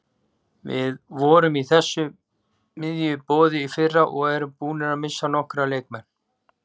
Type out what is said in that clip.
Við vorum í þessu miðjumoði í fyrra og erum búnir að missa nokkra leikmenn.